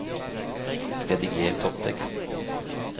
Rediger topptekst